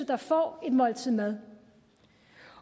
der får et måltid mad